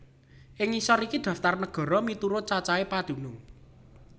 Ing ngisor iki daftar nagara miturut cacahé padunung